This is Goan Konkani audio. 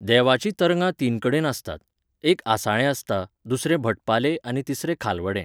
देवाची तरंगा तीन कडेन आसतात. एक आसाळें आसता, दुसरें भटपालें आनी तिसरें खालवडें